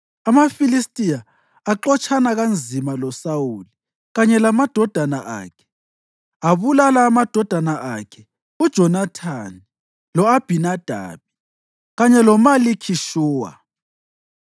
AmaFilistiya axotshana kanzima loSawuli kanye lamadodana akhe, abulala amadodana akhe uJonathani, lo-Abhinadabi kanye loMalikhi-Shuwa.